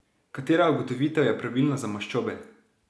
Katera ugotovitev je pravilna za maščobe?